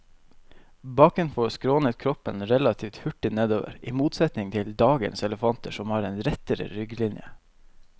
Bakenfor skrånet kroppen relativt hurtig nedover, i motsetning til dagens elefanter som har en rettere rygglinje.